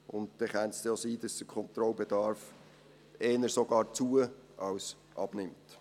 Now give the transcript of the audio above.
Dann könnte es auch sein, dass der Kontrollbedarf sogar eher zu- als abnimmt.